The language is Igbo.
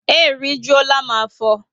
E rijuola m afo